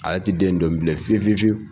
A le te den in dɔn bilen fiye fiye fiwu